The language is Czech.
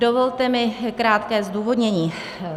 Dovolte mi krátké zdůvodnění.